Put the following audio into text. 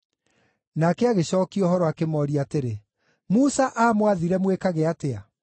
Nake agĩcookia ũhoro, akĩmooria atĩrĩ, “Musa aamwathire mwĩkage atĩa?”